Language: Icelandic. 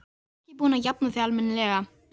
Þú ert ekki búin að jafna þig almennilega!